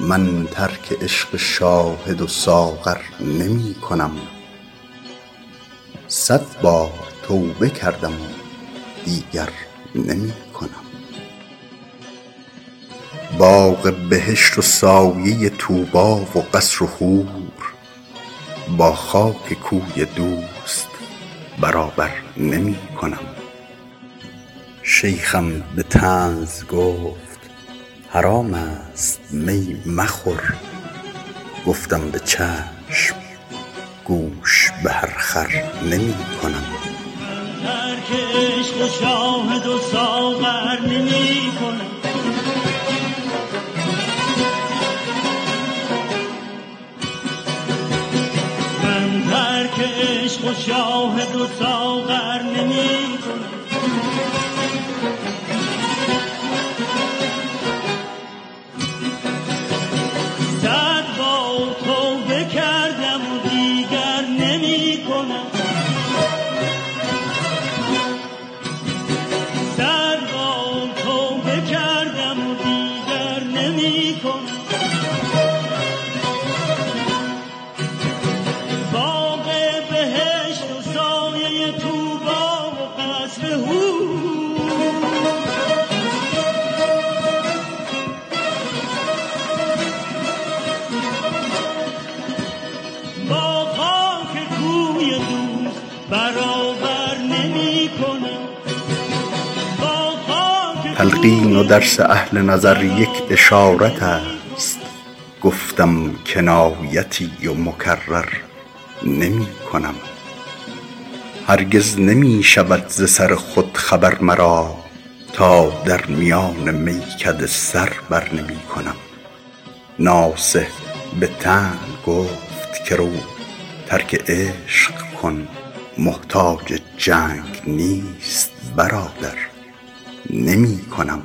من ترک عشق شاهد و ساغر نمی کنم صد بار توبه کردم و دیگر نمی کنم باغ بهشت و سایه طوبی و قصر و حور با خاک کوی دوست برابر نمی کنم تلقین و درس اهل نظر یک اشارت است گفتم کنایتی و مکرر نمی کنم هرگز نمی شود ز سر خود خبر مرا تا در میان میکده سر بر نمی کنم ناصح به طعن گفت که رو ترک عشق کن محتاج جنگ نیست برادر نمی کنم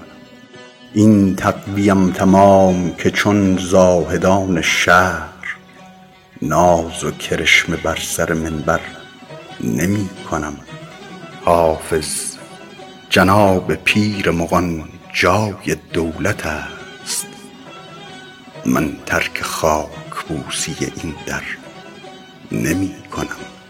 این تقوی ام تمام که با شاهدان شهر ناز و کرشمه بر سر منبر نمی کنم حافظ جناب پیر مغان جای دولت است من ترک خاک بوسی این در نمی کنم